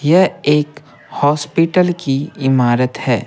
यह एक हॉस्पिटल की इमारत है।